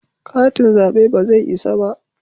Katin zabe ba zai isa ba